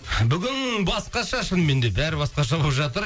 бүгін басқаша шынымен де бәрі басқаша болып жатыр